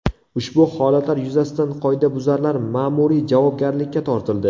Ushbu holatlar yuzasidan qoidabuzarlar ma’muriy javobgarlikka tortildi.